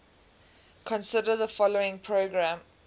consider the following program